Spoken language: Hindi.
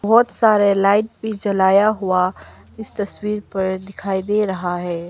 बहोत सारे लाइट भी जलाया हुआ इस तस्वीर पर दिखाई दे रहा है।